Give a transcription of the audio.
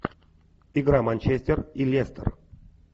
игра манчестер и лестер